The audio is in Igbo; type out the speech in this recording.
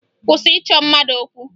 Kwụsị ịchọ mmadụ okwu!